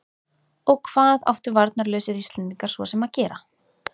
Og hvað áttu varnarlausir Íslendingar svo sem að gera?